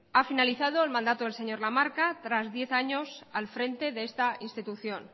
ha finalizado el mandato señor lamarca tras diez años al frente de esta institución